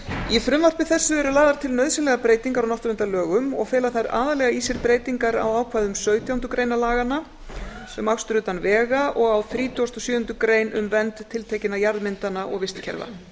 í frumvarpi þessu eru lagðar til nauðsynlegar breytingar á náttúruverndarlögum og fela þær aðallega í sér breytingar á ákvæðum sautján grein laganna um akstur utan vega og þrítugasta og sjöundu greinar um vernd tiltekinna jarðmyndana og vistkerfa